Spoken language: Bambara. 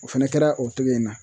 O fɛnɛ kɛra o kelen in na